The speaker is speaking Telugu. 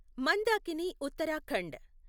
మందాకిని ఉత్తరాఖండ్